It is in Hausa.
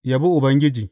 Yabi Ubangiji.